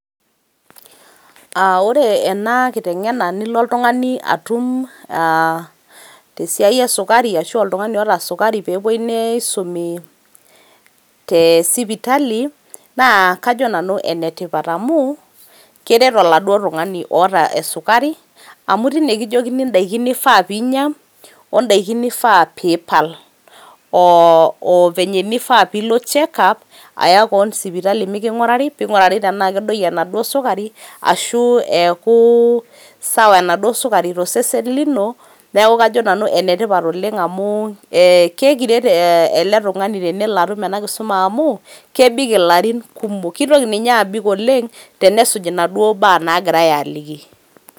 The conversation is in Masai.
Ore ena inkitengena nilo oltungani atum te siaai esukari ashu oltungani oota sukari peepoi neisumi te sipitali naa kajo nanu enetipat amuu keret eladuo tungani oota esukari, amu teine kijokini indaki nifaa piinya ondaki nifaa piipal oovenye nifaa piilo check up aya keon sipitali piiking'urari ,peing'urari tenaa kedoiyo enado sukarii ashu eaku sawa enado sukari to osesen lino neaku kajo nanu enetipat oleng amu keekiret ele tungani tenelo aatum ena kiti kisuma amuu kebik illarin kumok, keitoki ninye aabik oleng tenesuuj nadoo baa naagirai aaliki.